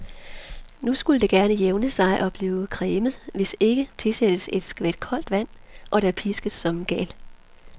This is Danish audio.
Nu skulle det gerne jævne sig og blive cremet, hvis ikke, tilsættes et skvæt koldt vand, og der piskes som en gal.